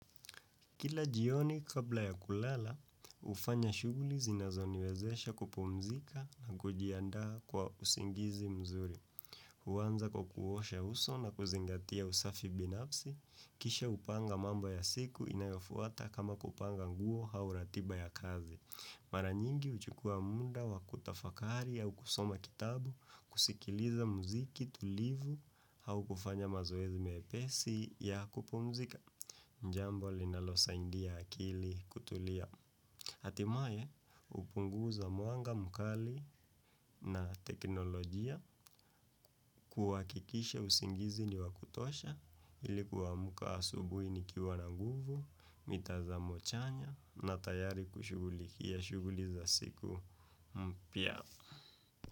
Kila jioni kabla ya kulala, hufanya shuguli zinazoniwezesha kupumzika na kujiandaa kwa usingizi mzuri. Huanza kwa kuosha uso na kuzingatia usafi binafsi, kisha hupanga mamo ya siku inayofuata kama kupanga nguo hau ratiba ya kazi. Mara nyingi huchukua muda wa kutafakari au kusoma kitabu, kusikiliza muziki tulivu au kufanya mazoezi mepesi ya kupumzika. Ni jambo linalosaindia akili kutulia. hatimae hupunguza mwanga mkali na teknolojia kuwakikishe usingizi ni wakutosha ili kuamka asubui nikiwa na nguvu, mitazamo chanya na tayari kushughulikia. Shughuli za siku mpya.